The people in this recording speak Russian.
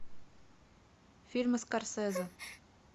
фильмы скорсезе